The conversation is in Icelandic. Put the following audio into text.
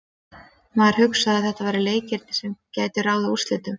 Maður hugsaði að þetta væru leikirnir sem gætu ráðið úrslitum.